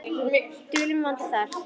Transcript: Dulinn vandi þar.